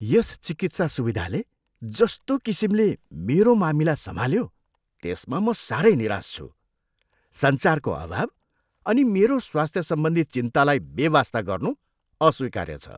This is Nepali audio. यस चिकित्सा सुविधाले जस्तो किसिमले मेरो मामिला सम्हाल्यो, त्यसमा म साह्रै निराश छु। सञ्चारको अभाव अनि मेरो स्वास्थ्यसम्बन्धी चिन्तालाई बेवास्ता गर्नु अस्वीकार्य छ।